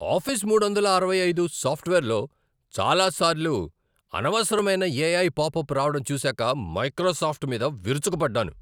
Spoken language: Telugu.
ఆఫీస్ మూడొందల ఆరవై ఐదు సాఫ్ట్వేర్లో చాలాసార్లు అనవసరమైన ఎఐ పాప్అప్ రావడం చూసాక మైక్రోసాఫ్ట్ మీద విరుచుకుపడ్డాను.